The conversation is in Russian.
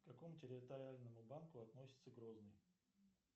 к какому территориальному банку относится грозный